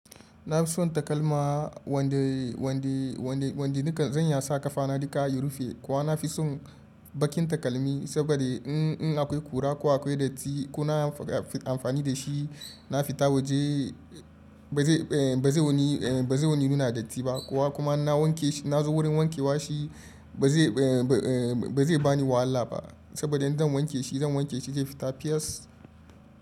Na fi son takalma wanda, wanda, wanda nika zan iya sa ƙafana duka ya rufe. Kowa na fi son bakin takalmi saboda in, in akwai ƙura ko akwai datti ko na amfani da shi na fita waje ba zai, ba zai wani, ba zai wani nuna datti ba. Kowa kuma na wanke shi na zo wurin wanke wa shi ba zai, ba zai bani wahala ba. Saboda idan zan wanke shi zan wanke shi zai fita fiyes.